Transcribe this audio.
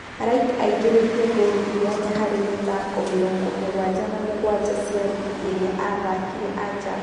Light aingĩrĩtie ngũrũ inyanya harĩ mĩthako mĩrongo mũgwanja na-mũgwanja cia rigi iria athakire Ajab.